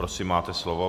Prosím, máte slovo.